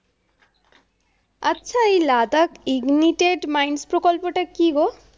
আচ্ছা, এই Ladakh ignited mind প্রকল্পটা কি গো?